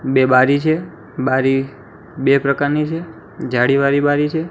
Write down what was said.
બે બારી છે બારી બે પ્રકારની છે જાળીવાળી બારી છે.